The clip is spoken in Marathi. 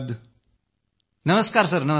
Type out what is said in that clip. प्रणाम प्रणाम